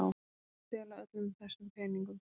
Stela öllum þessum peningum!